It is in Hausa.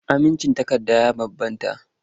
Amincin takarda ya bambanta.